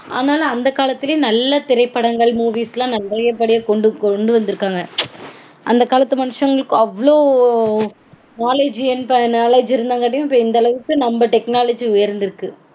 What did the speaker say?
ஆனாலுமே அந்த காலத்திலயே நல்ல திரைப்படங்கள் movies -லாம் நல்லபடியா கொண்டு கொண்டு வந்திருக்காங்க. அந்த காலத்து மனுஷங்களுக்கு அவ்ளோ knowledge knowledge இருந்தங்காட்டியும் இப்போ இந்த அளவுக்கு நம்ம technology உயர்ந்திருக்கு